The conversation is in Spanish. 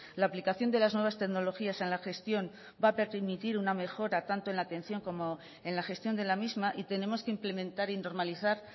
la aplicación de las nuevas tecnologías en la gestión va a permitir una mejora tanto en la atención como en la gestión de la misma y tenemos que implementar y normalizar